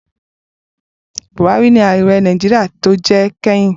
Buhari ni ààrẹ Nàìjíríà tó jẹ kẹ́yìn.